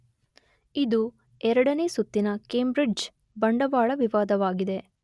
ಇದು ಎರಡನೆ ಸುತ್ತಿನ ಕೇಂಬ್ರಿಡ್ಜ್ ಬಂಡವಾಳ ವಿವಾದವಾಗಿದೆ